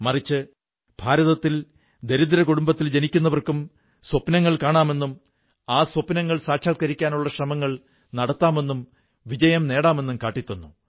മറിച്ച് ഭാരതത്തിൽ ദരിദ്ര കുടുംബത്തിൽ ജനിക്കുന്നവർക്കും സ്വപ്നങ്ങൾ കാണാമെന്നും ആ സ്വപ്നങ്ങൾ സാക്ഷാത്കരിക്കാനുള്ള ശ്രമങ്ങൾ നടത്താമെന്നും വിജയം നേടാമെന്നും കാട്ടിത്തന്നു